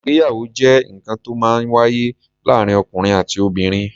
Ìgbéyàwó jẹ́ nǹkan to ó máa ń wáyé láàárín ọ̀kùnrin àti obìnrin.